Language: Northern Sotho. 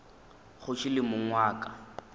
kgoši le mong wa ka